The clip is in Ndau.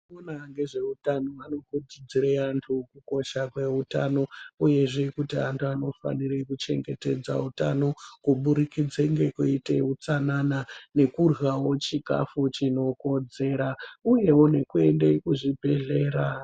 Vanoona ngezveutano vari kukurudzire vantu kukosha kweutano, uyezve kuti antu anofanire kuchengetedza utano, kuburikidze ngekuite utsanana, nekuryawo chikhafu chinokodzera, uyewo nekuende kuzvibhedhlera.